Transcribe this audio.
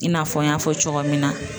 I n'a fɔ n y'a fɔ cogoya min na.